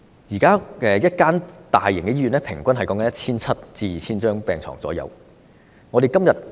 現時一間大型醫院平均可提供 1,700 張至 2,000 張病床。